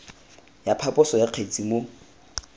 ya phaposo ya kgetse mo